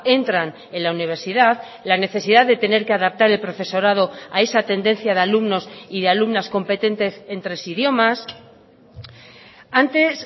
entran en la universidad la necesidad de tener que adaptar el profesorado a esa tendencia de alumnos y de alumnas competentes en tres idiomas antes